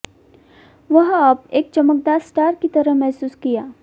वह अब एक चमकदार स्टार की तरह महसूस किया